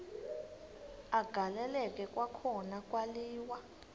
agaleleka kwakhona kwaliwa